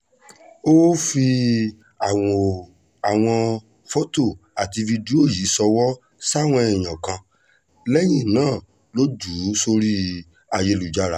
ó ó fi àwọn fọ́tò àti fídíò yìí ṣọwọ́ sáwọn èèyàn kan lẹ́yìn náà ló jù ú sórí ayélujára